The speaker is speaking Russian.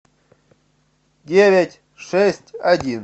девять шесть один